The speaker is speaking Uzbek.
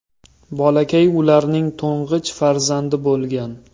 Bolakay ularning to‘ng‘ich farzandi bo‘lgan.